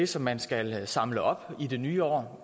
som man skal samle op i det nye år